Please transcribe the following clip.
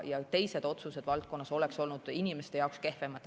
Teised otsused valdkonnas oleks olnud inimeste jaoks kehvemad.